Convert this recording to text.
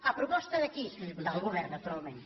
a pro·posta d’aquí del govern naturalment